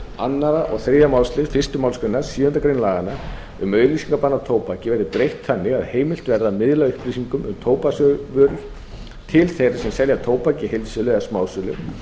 annað og þriðja málsl fyrstu málsgrein sjöundu grein laganna um auglýsingabann á tóbaki verði breytt þannig að heimilt verði að miðla upplýsingum um tóbaksvörur til þeirra sem selja tóbak í heildsölu eða smásölu